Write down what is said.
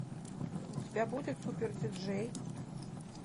у тебя будет супер диджей